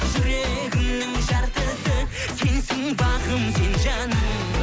жүрегімнің жартысы сенсің бағым сен жаным